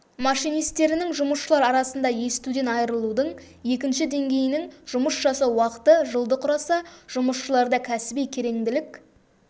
машинистерінің жұмысшылар арасында естуден айырылудың екінші деңгейінің жұмыс жасау уақыты жылды құраса жұмысшыларда кәсіби кереңділік